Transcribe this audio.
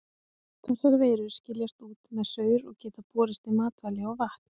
Þessar veirur skiljast út með saur og geta borist í matvæli og vatn.